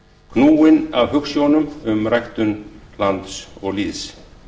knúinn af hugsjónum um ræktun lands og lýðs